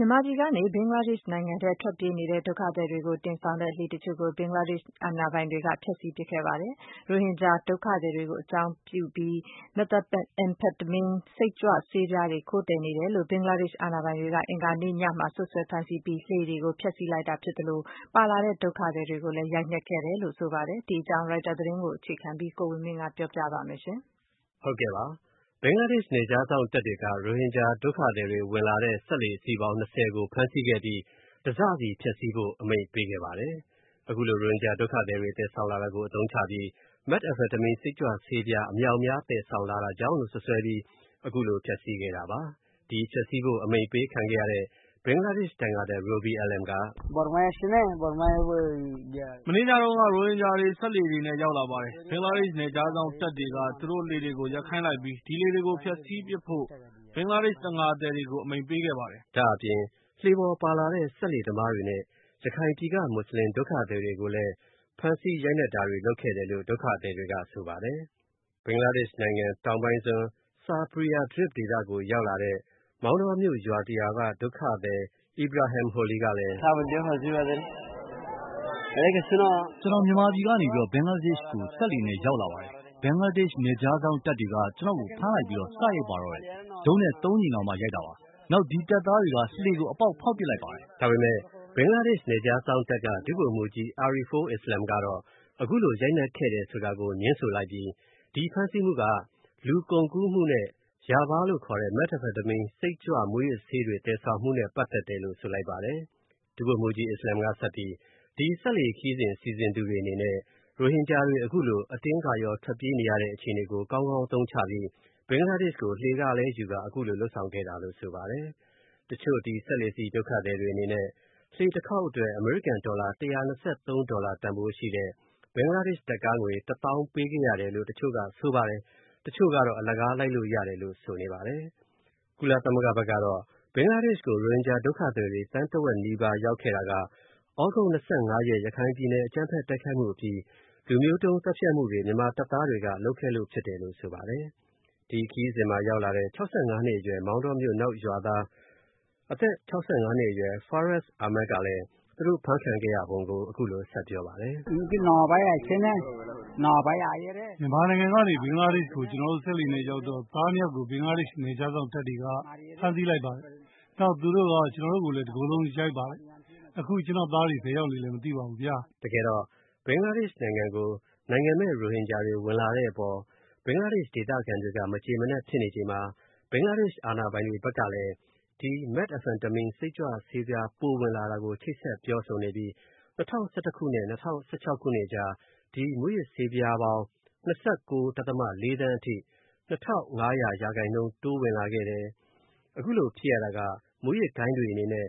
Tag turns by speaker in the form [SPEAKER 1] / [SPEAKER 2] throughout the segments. [SPEAKER 1] မြန်မာပြည်ကနေ ဘင်္ဂလားဒေ့ရ်ှနိုင်ငံထဲ ထွက်ပြေးနေတဲ့ ဒုက္ခသည်တွေကို တင်ဆောင်တဲ့လှေအချို့ကို ဘင်္ဂလားဒေ့ရ်ှအာဏာပိုင်တွေက ဖျက်ဆီးပစ်ခဲ့ပါတယ်။ရိုဟင်ဂျာဒုက္ခသည်တွေကို အကြောင်းပြုပြီး၊ Methamphetamine စိတ်ကြွဆေးပြားတွေကို ခိုးသယ်နေတယ်လို့ ဘင်္ဂလာဒေ့ရ်ှအာဏာပိုင်တွေက အင်္ဂါညမှာ စွပ်စွဲဖမ်းဆီးပြီး၊ လှေတွေကို ဖျက်ဆီးလိုက်တာဖြစ်သလို၊ ပါလာတဲ့ ဒုက္ခသည်တွေကိုလည်း ရိုက်နှက်ခဲ့တယ်လို့ဆိုပါတယ်။ဒီအကြောင်း ရိုက်တာသတင်းကို အခြေခံပြီး ကိုဝင်မင်းက ပြောပြပါလိမ့်မယ်။
[SPEAKER 2] ဘင်္ဂလားဒေ့ရ်ှနယ်ခြားစောင့်တပ်တွေက ရိုဟင်ဂျာဒုက္ခသည်တွေဝင်လာတဲ့ စက်လှေအစီးပေါင်း ၂၀ ကို ဖမ်းဆီးခဲ့ပြီး တစစီ ဖျက်ဆီးဖို့ အမိန့်ပေးခဲ့ပါတယ်။ ရိုဟင်ဂျာဒုက္ခသည်တွေသယ်ဆောင်လာတာကို အသုံးချပြီး Methamphetamine စိတ်ကြွဆေးပြားတွေ အမြောက်အများသယ်ဆောင်လာတာကြောင့်လို့ စွပ်စွဲပြီး အခုလို ဖျက်ဆီးခဲ့တာပါ။ ဒီဖျက်ဆီးဖို့ အမိန့်ပေးခံခဲ့ရတဲ့ ဘင်္ဂလားဒေ့ရ်ှ တံငါသည် Robi Alam က “မနေ့ညတုန်းက ရိုဟင်ဂျာတွေ စက်လှေတွေနဲ့ ရောက်လာပါတယ်။ ဘင်္ဂလားဒေ့ရှ် နယ်ခြားစောင့်တပ်တွေက သူတို့လှေတွေကို ရပ်ခိုင်းလိုက်ပြီး၊ ဒီလှေတွေကို ဖျက်ဆီးပစ်ဖို့ ဘင်္ဂလားဒေ့ရှ် တံငါသည်တွေကို အမိန့်ပေးခဲ့ပါတယ်။” ဒါ့အပြင် လှေပေါ်ပါလာတဲ့ စက်လှေသမားတွေနဲ့ ရခိုင်ပြည်က မွတ်စလင် ဒုက္ခသည်တွေကိုလည်း ဖမ်းဆီးရိုက်နှက်တာတွေ လုပ်ခဲ့တယ်လို့ ဒုက္ခသည်တွေကဆိုပါတယ်။ ဘင်္ဂလားဒေ့ရ်ှနိုင်ငံ တောင်ပိုင်းစွန်း ဆာဘရီယာဒရစ်ဒေသကိုရောက်လာတဲ့ မောင်တောမြို့ရွာတရွာက ဒုက္ခသည် Ibrahim Holil ကလည်း “ကျွန်တော် မြန်မာပြည်ကနေ ဘင်္ဂလားဒေ့ရှ်ကို စက်လှေနဲ့ ရောက်လာပါတယ်။ ဘင်္ဂလားဒေ့ရှ် နယ်ခြားစောင့်တပ်တွေက ကျွန်တော့ကို ဖမ်းလိုက်ပြီး စရိုက်ပါတော့တယ်။ ဒုတ်နဲ့ ကြိမ်တောင် ရိုက်တာပါ။ နောက် ဒီတပ်သားတွေက လှေကို အပေါက် ဖောက်ပစ်လိုက်ပါတယ်။” ဒါပေမယ့် ဘင်္ဂလားဒေ့ရှ် နယ်ခြားစောင့်တပ်က ဒုဗိုလ်မှူးကြီး အာရီဖိုအစ္စလာမ်ကတော့ အခုလို ရိုက်နှက်ခဲ့တယ်ဆိုတာကို ငြင်းဆိုလိုက်ပြီး ဒီဖမ်းဆီးမူက လူကုန်ကူးမူနဲ့ ရာမလို့ခေါ်တဲ့ Methamphetamine စိတ်ကြွဆေးပြားနဲ့ မူးယစ်ဆေးတွေသယ်ဆောင်မှုကြောင့်လို့ ဆိုလိုက်ပါတယ်။ ဒုဗိုလ်မှူးကြီး အာရီဖိုအစ္စလာမ်က ဆက်ပြီး ဒီစက်လှေခရီးတွေ စီစဉ်သူတွေအနေနဲ့ ရိုဟင်ဂျာတွေအတင်းထွက်ပြေးနေရတဲ့အခြေအနေကို ကောင်းကောင်းအသုံးချပြီး ဘင်္ဂလားဒေ့ရှ်ကို လှေခလည်းယူကာ အခုလိုလုပ်ဆောင်ခဲ့တာလို့ဆိုပါတယ်။ တချို့ ဒီစက်လှေစီး ဒုက္ခသည်တွေအနေနဲ့ လှေတခေါက်အတွက် အမေရိကန်ဒေါ်လာ ၁၂၃ ဒေါ်လာတန်ဖိုးရှိတဲ့ ဘင်္ဂလားဒေ့ရှ် ငွေ Taka ၁ သောင်းပေးခဲ့ရတယ်လို့ တချို့ဆိုပါတယ်။ တချို့ကတော့ အလကားလိုက်လို့ရတယ်လို့ ဆိုနေပါတယ်။ ကုလသမဂ္ဂ ကတော့ ဘင်္ဂလားဒေ့ရှ်ကို ရိုဟင်ဂျာ ဒုက္ခသည်တွေ သန်းတဝက်နီးပါးရောက်ခဲ့တာက သြဂုတ် ၂၅ ရက် ရခိုင်ပြည်နယ် အကြမ်းဖက်တိုက်ခိုက်မှုအပြီး လူမျိုးတုံးသတ်ဖြတ်မှုတွေကို မြန်မာတပ်သားတွေက လုပ်ခဲ့လို့ဖြစ်တယ်လို့ ဆိုပါတယ်။ ဒီခရီးစဉ်မှာရောက်လာတဲ့ မောင်တောမြိုု့ရွာသား အသက် ၆၅ နှစ်အရွယ် Farous Ahmad ကလည်း သူတို့အဖမ်းခံရပုံကို အခုလိုဆက်ပြောပါတယ်။ “မြန်မာနိုင်ငံကနေ ဘင်္ဂလားဒေ့ရှ်ကို ကျွန်တော်တို့ စက်လှေနဲ့ ရောက်တော့ သားနှစ်ယောက်ကို ဘင်္ဂလားဒေ့ရှ် နယ်ခြားစောင့်တပ်တွေက ဖမ်းဆီးလိုက်ပါတယ်။ နောက် သူတို့က ကျွန်တော့ကိုလဲ တကိုယ်လုံး ရိုက်ပါတယ်။ အခုကျွန်တော့သားတွေ ဘယ်ရောက်နေလဲ မသိပါဘူးဗျာ။” တကယ်တော့ ဘင်္ဂလားဒေ့ရှ်နိုင်ငံကို နိုင်ငံမဲ့ရိုဟင်ဂျာတွေ ဝင်လာတဲ့အပေါ် ဘင်္ဂလားဒေ့ရှ်ဒေသခံတွေက မကျေမနပ်ဖြစ်နေချိန်မှာ ဘင်္ဂလားဒေ့ရှ်အာဏာပိုင်တွေဘက်ကလည်း Methamphetamine စိတ်ကြွဆေးပြားပိုဝင်လာတာကို ချိတ်ဆက်ပြောဆိုနေပြီး ၂၀၁၁ ခုနှစ်နဲ့ ၂၀၁၆ ခုနှစ်အကြား ဒီမူးယစ်ဆေးပြားပေါင်း ၂၉.၄ သန်းအထိ တိုးဝင်လာခဲ့တယ် အခုလိုဖြစ်ရတာက မူးယစ်ဂိုဏ်းတွေအနေနဲ့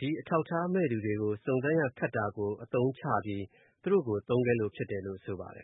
[SPEAKER 2] ဒီအထောက်အထားမဲ့သူတွေကို စုံစမ်းရခက်တာကို အသုံးချပြီး သူတို့ကို သုံးခဲ့တယ်လို့ ဆိုပါတယ်